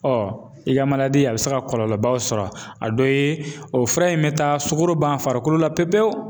i ka a bi se ka kɔlɔlɔbaw sɔrɔ a dɔ ye, o fura in bɛ taa sukaro ban farikolo la pewu pewu